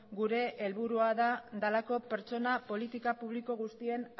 gure helburua delako pertsona politika publiko guztien